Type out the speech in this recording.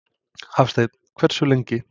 Hafsteinn: Hversu lengi?